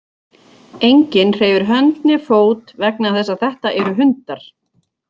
Enginn hreyfir hönd né fót vegna þess að þetta eru hundar.